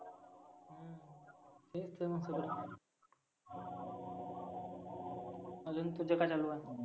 तेच तर मग सगळ. आजुन तुझं काय चालू आहे?